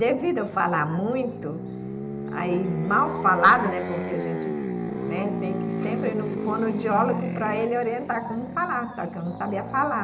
Devido a eu falar muito, aí mal falado, né, porque a gente tem que sempre ir no fonoaudiólogo para ele orientar como falar, só que eu não sabia falar.